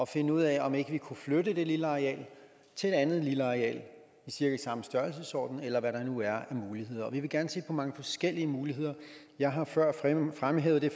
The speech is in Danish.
finde ud af om ikke vi kunne flytte det lille areal til et andet lille areal i cirka samme størrelsesorden eller hvad der nu er af muligheder vi vil gerne se på mange forskellige muligheder jeg har før fremhævet det